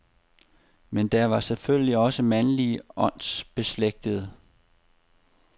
Men der var selvfølgelig også mandlige åndsbeslægtede.